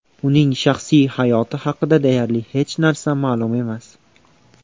Uning shaxsiy hayoti haqida deyarli hech narsa ma’lum emas.